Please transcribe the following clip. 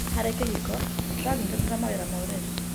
Harĩ kĩhiko, tũranyitanĩra mawĩra ma ũreri.